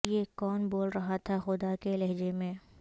یہ کون بول رہا تھا خدا کے لہجے میں